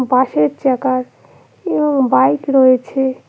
পাশের চাকার উ বাইক রয়েছে।